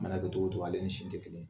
Mana kɛ cogo o cogo ale ni sin tɛ kelen ye.